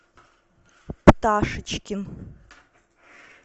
пташечкин